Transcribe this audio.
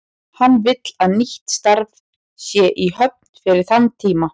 Hann vill að nýtt starf sé í höfn fyrir þann tíma.